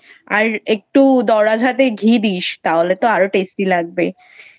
আর একটু দরাজহাতে ঘি দিস তাহলে তো আরো tasty লাগবে।